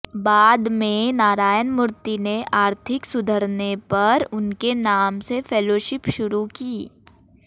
बाद में नारायणमूर्ति ने आर्थिक सुधरने पर उनके नाम से फेलोशिप शुरू की